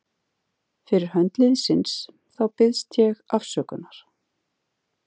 Fyrir hönd liðsins þá biðst ég afsökunar.